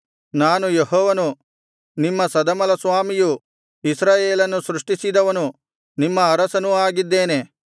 ನಾನು ಯೆಹೋವನು ನಿಮ್ಮ ಸದಮಲಸ್ವಾಮಿಯು ಇಸ್ರಾಯೇಲನ್ನು ಸೃಷ್ಟಿಸಿದವನು ನಿಮ್ಮ ಅರಸನೂ ಆಗಿದ್ದೇನೆ